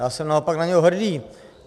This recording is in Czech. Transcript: Já jsem naopak na něj hrdý.